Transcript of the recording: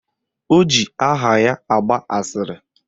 O ji aha ya agba asịrị